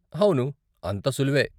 అవును, అంత సులువే.